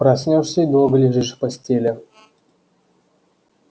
проснёшься и долго лежишь в постели